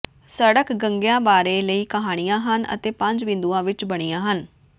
ਸੜਕ ਗੰਗਿਆਂ ਬਾਰੇ ਕਈ ਕਹਾਣੀਆਂ ਹਨ ਜੋ ਪੰਜ ਬਿੰਦੂਆਂ ਵਿੱਚ ਬਣੀਆਂ ਹਨ